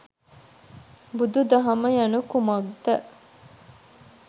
බුදු දහම යනු කුමක්ද